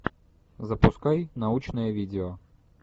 запускай научное видео